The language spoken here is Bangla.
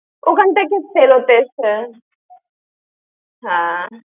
ওখান থেকে ফেরত এসে। হ্যাঁ।